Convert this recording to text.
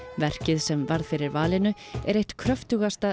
verkið sem varð fyrir valinu er eitt kröftugasta